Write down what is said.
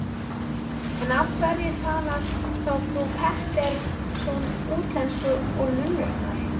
En af hverju talar þá frú Pettersson útlensku, og nunnurnar?